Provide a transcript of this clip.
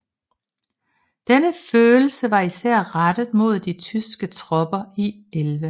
Denne følelse var især rettet mod de tyske tropper i 11